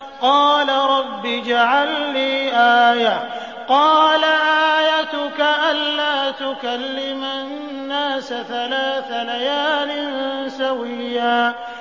قَالَ رَبِّ اجْعَل لِّي آيَةً ۚ قَالَ آيَتُكَ أَلَّا تُكَلِّمَ النَّاسَ ثَلَاثَ لَيَالٍ سَوِيًّا